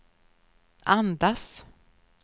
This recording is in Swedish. andas